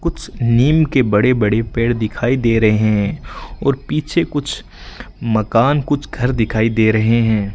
कुछ नीम के बड़े बड़े पेड़ दिखाई दे रहे हैं और पीछे कुछ मकान कुछ घर दिखाई दे रहे हैं।